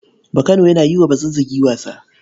Bakano yana yi wa Bazazzagi wasa.